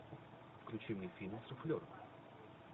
включи мне фильм суфлер